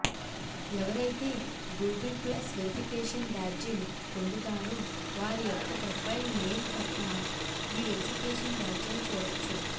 ఎవరైతే Google plus verification బ్యాడ్జిలు పోందుతారో వారియొక్క ప్రోపైల్ నేమ్ ప్రక్కన ఈ వెరిఫికేషన్ బ్యాడ్జిని చూడోచ్చు